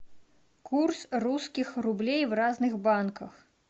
курс русских рублей в разных банках